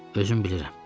Özüm bilirəm.